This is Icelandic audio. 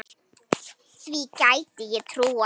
Því gæti ég trúað